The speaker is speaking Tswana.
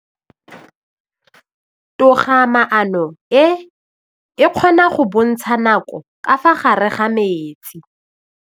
Toga-maanô e, e kgona go bontsha nakô ka fa gare ga metsi.